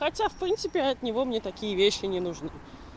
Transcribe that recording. хотя в принципе от него мне такие вещи не нужны